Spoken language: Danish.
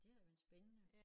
Det har været spændende